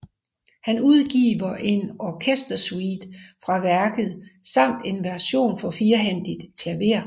Han udgiver en orkestersuite fra værket samt en version for firehændigt klaver